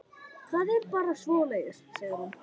Það er bara svoleiðis, segir hún.